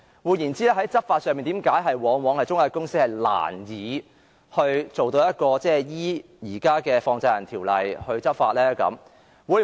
換言之，在對中介公司執法方面，為何往往難以按照現時的《放債人條例》來執法呢？